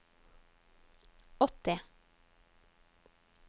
åtti